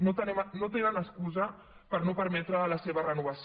no tenen excusa per no permetre la seva renovació